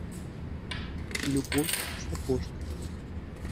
любовь сапожникова